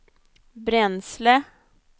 bränsle